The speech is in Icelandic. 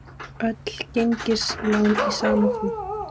Öll gengislán í sama flokk